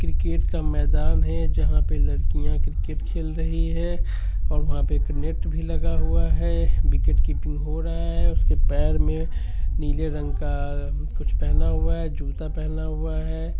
Cricket का मैदान हेै जहा पे लड़किया क्रिकेट खेल रही है और वहां पे एक नेट भी लगा हुवा है| विकेटकीपींग हो रहा है| उसके पैर मे नीले रंग का कुछ पेहना हुआ है जूता पेहेना हुआ हेैं।